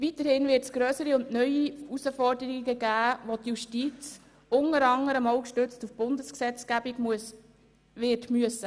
Weiterhin wird es grössere und neue Herausforderungen geben, welche die Justiz unter anderem auch gestützt auf die Bundesgesetzgebung wird bewältigen müssen.